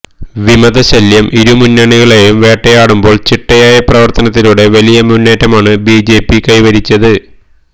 വിമതശല്യം ഇരുമുന്നണികളെയും വേട്ടയാടുമ്പോള് ചിട്ടയായ പ്രവര്ത്തനത്തിലൂടെ വലിയ മുന്നേറ്റമാണ് ബിജെപി കൈവരിച്ചത്